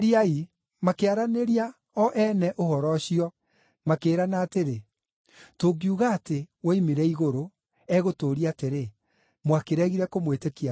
Makĩaranĩria o ene ũhoro ũcio, makĩĩrana atĩrĩ, “Tũngiuga atĩ, ‘Woimire igũrũ’, egũtũũria atĩrĩ, ‘Mwakĩregire kũmwĩtĩkia nĩkĩ?’